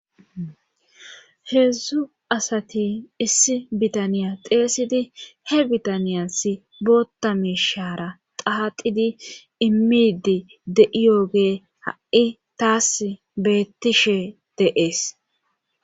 heedzdzu asati issi bitaniya xeesidi he bitaniyas bootta miishara qaaqidi immidi de7iyogee ha7i taas beettishe de'es